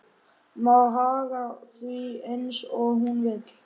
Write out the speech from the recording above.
Má haga því eins og hún vill.